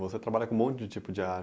Você trabalha com um monte de tipo de